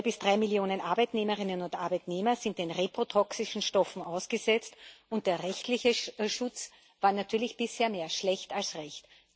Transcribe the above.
Zwei bis drei Millionen Arbeitnehmerinnen und Arbeitnehmer sind den reprotoxischen Stoffen ausgesetzt, und der rechtliche Schutz war natürlich bisher mehr schlecht als recht.